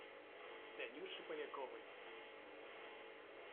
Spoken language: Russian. танюше поляковой